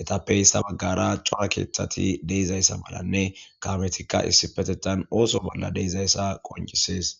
etappeyssa baggara cora keeththati deizayssa malanne kametikka issi petetan ooso bolla deizayssa qoncisees.